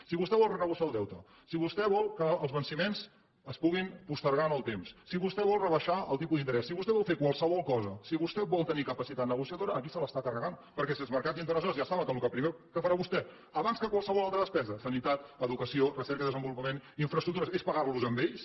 si vostè vol renegociar el deute si vostè vol que els venciments es puguin postergar en el temps si vostè vol rebaixar el tipus d’interès si vostè vol fer qualsevol cosa si vostè vol tenir capacitat negociadora aquí se l’està carregant perquè si els mercats internacionals ja saben que el primer que farà vostè abans que qualsevol altra despesa sanitat educació recerca i desenvolupament infraestructures és pagar los a ells